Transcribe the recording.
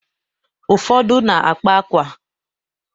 Ufọdụ na-akpa akwa.